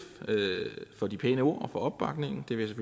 for de pæne ord og opbakningen det vil